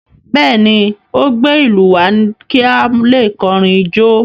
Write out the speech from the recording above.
Bẹ́ẹ̀ ni, ó gbé ìlú wá kí a lè kọrin jó.